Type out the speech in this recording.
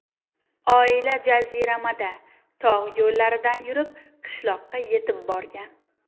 Oila jaziramada, tog‘ yo‘llaridan yurib, qishloqqa yetib borgan.